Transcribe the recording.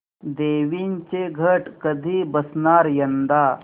देवींचे घट कधी बसणार यंदा